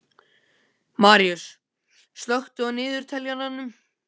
Maríus, slökktu á niðurteljaranum.